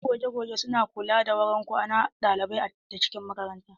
Masu goge goge su na kula da wurin kwanan ɗalibai da cikin makaranta.